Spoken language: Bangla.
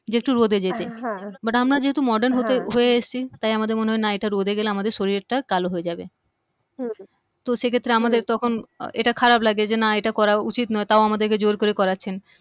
যে একটু রোদে যেতে but আমরা যেহেতু মর্ডান হতে হয়ে এসছি তাই আমাদের মনে হয় না এটা রোদে গেলে আমাদের শরীরের কালো হয়ে যাবে হম তো সেক্ষেত্রে আমাদের তখন এটা খারাপ লাগে যে না এটা করা উচিৎ নয় তাও আমাদেরকে জোর করে করাচ্ছেন